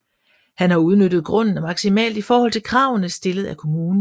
Han har udnyttet grunden maksimalt i forhold til kravene stillet af kommunen